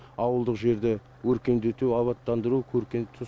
ауылдық жерді өркендету абаттандыру көркейту